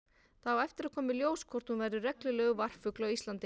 Það á eftir að koma í ljós hvort hún verður reglulegur varpfugl á Íslandi.